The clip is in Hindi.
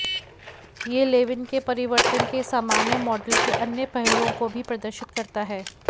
यह लेविन के परिवर्तन के सामान्य मॉडल के अन्य पहलूओं को भी प्रदर्शित करता है